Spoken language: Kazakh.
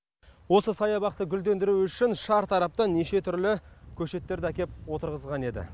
осы саябақты гүлдендіру үшін шартараптан неше түрлі көшеттерді әкеп отырғызған еді